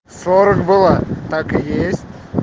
сорок была так и есть